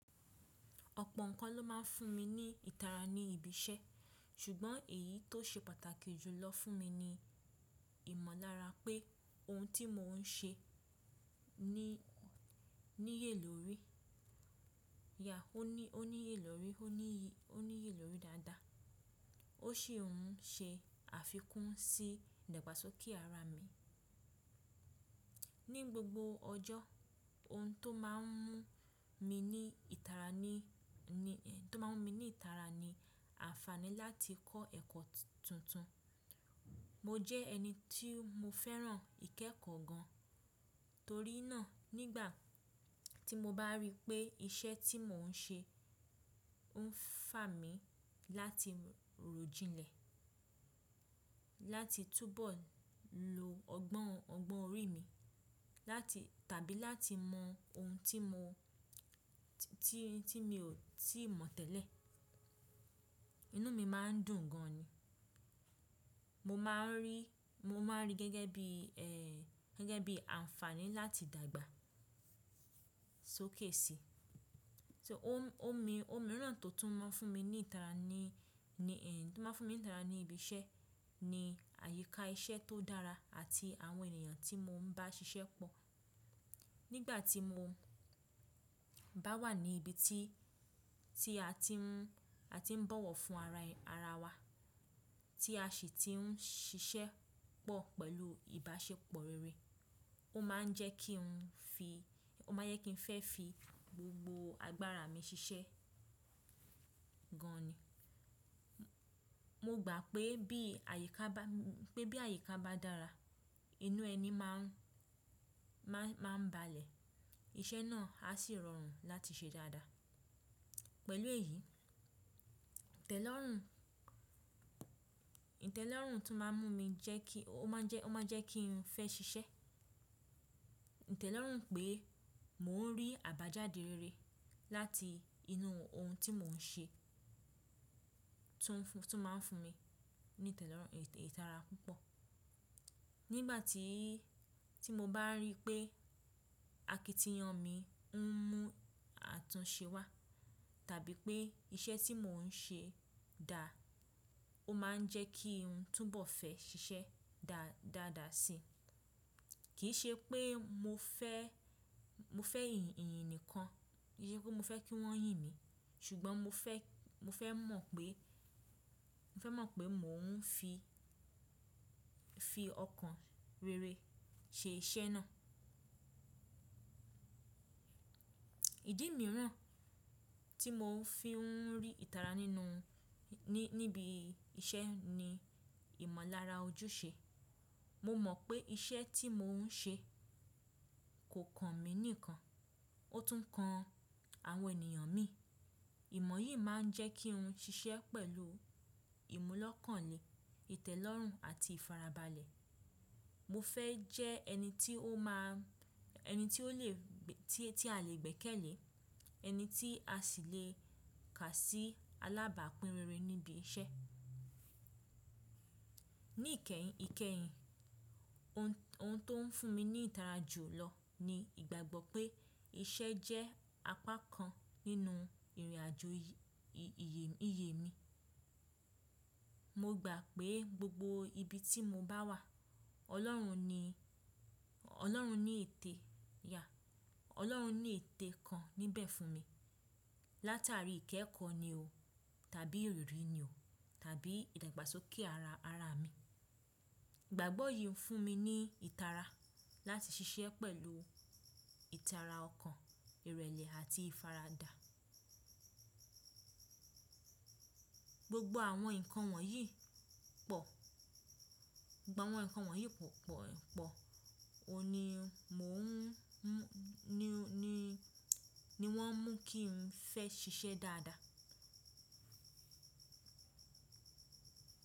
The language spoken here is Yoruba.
Ọ̀pọ̀ nǹkan ló máa ń fún mi ní ìtara ní ibi iṣẹ́, ṣùgbọ́n èyí tó ṣe pàtàkì jù lọ fún mi ni ìmọ̀lára pé ohun tí mò ń ṣe níye lórí, ó níye lórí dáadáa, ó sì ń ṣe àfikún sí ìdàgbàsókè ara mi. Ni gbogbo ọjọ́, ohun tó máa ń mú mi ní ìtara ni àǹfààní láti kọ́ ẹ̀kọ́ tuntun. Mo jẹ́ ẹni tí mo fẹ́ràn ìkẹ́kọ̀ọ́ gan, torí náà nígbà tí mo bá rí pé iṣẹ́ tí mò ń ṣe ń fà mí láti ròjinlẹ̀, láti túbọ̀ lo ọgbọ́n orí mi tàbí láti mọ ohun tí mi ò tíì mọ̀ tẹ́lẹ̀, inú mi máa ń dùn gan ni. Mo máa ń rí gẹ́gẹ́ bí àǹfààní láti dàgbà sókèsì. Ohun mìíràn tó tún máa ń fún mi ní ìtara ní ibi iṣẹ́ ni àyíká iṣẹ́ tó dára àti àwọn ènìyàn tí mo ń bá ṣiṣẹ́ pọ̀. Nígbà tí mo bá wà ní ibi tí a ti ń bọ̀wọ̀ fún ara wa, tí a sì ti ń ṣiṣẹ́ pọ̀ pẹ̀lú ìbáṣepọ̀ rere, ó máa ń jẹ́ kí n fẹ́ fi gbogbo agbára mi ṣiṣẹ́ gan ni. Mo gbà pé bí àyíká bá dára, inú ẹni máa ń balẹ̀, iṣẹ́ náà á sì rọrùn láti ṣe dáadáa. Pẹ̀lú èyí, ìtẹ́lọ́rùn tó máa ń mú mi jẹ́ kí n fẹ́ ṣiṣẹ́, ìtẹ́lọ́rùn pé mò ń rí àbájáde rere láti inú ohun tí mò ń ṣe, tún máa ń fún mi ní ìtara púpọ̀. Nígbà tí mo bá rí pé àkìtìyàn mi ń mú àtúnṣe wá tàbí pé iṣẹ́ tí mò ń ṣe dá, ó máa ń jẹ́ kí n túbọ̀ fẹ́ ṣiṣẹ́ dáadáa si. Kì í ṣe pé mo fẹ́ yìnyìn nìkan, kì í ṣe pé mo fẹ́ kí wọ́n yìn mí, ṣùgbọ́n mo fẹ́ mọ̀ pé mò ń fi ọkàn rere ṣe iṣẹ́ náà. Ìdí mìíràn tí mò ń fi ń rí ìtara níbi iṣẹ́ ni ìmọ̀lára ojúṣe. Mo mọ̀ pé iṣẹ́ tí mò ń ṣe kò kan mi nìkan, ó tún kan àwọn ènìyàn mi. Ìmọ̀ yìí máa ń jẹ́ kí n ṣiṣẹ́ pẹ̀lú ìmúlọ́kànlé, ìtẹ́lọ́rùn àti ìfarabalẹ̀. Mo fẹ́ jẹ́ ẹni tí a lè gbẹ́kẹ̀lé, ẹni tí a sì lè kà sí alábàápín rere níbi iṣẹ́. Ní ìkẹyìn, ohun tó ń fún mi ní ìtara jù lọ ni ìgbàgbọ́ pé iṣẹ́ jẹ́ apá kan nínú ìrìnàjò ìyè mi. Mo gbà pé gbogbo ibi tí mo bá wà, Ọlọ́run ní etẹ́ kan níbẹ̀ fún mi. Látàrí ìkẹ́kọ̀ọ́ ni o tàbí ìrírí ni o tàbí ìdàgbàsókè ara mi. Ìgbàgbọ́ yìí ń fún mi ní ìtara láti ṣiṣẹ́ pẹ̀lú ìtara ọkàn, ìrẹ̀lẹ̀ àti ìfaradà. Gbogbo àwọn nǹkan wọ̀nyí pọ̀ pọ̀ pọ̀ ni wọ́n mú kí n fẹ́ ṣiṣẹ́ dáadáa.